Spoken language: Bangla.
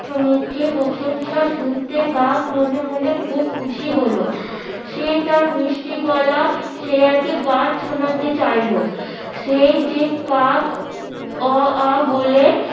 মুখে প্রশংসা শুনতে কাক মনে মনে খুব খুশি হল সে তার মিষ্টি গলা শিয়ালকে গান শোনাতে চাইলো সেই যে কাক অ আ বলে